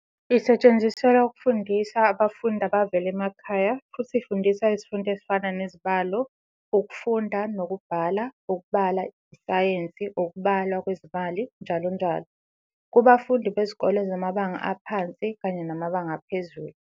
Isetshenziselwa ukufundisa abafundi abavela emakhaya futhi ifundisa izifundo ezifana nezibalo, ukufunda nokubhala, ukubala, isayensi, ukubalwa kwezimali njll kubafundi bezikole zamabanga aphansi kanye namabanga aphezulu.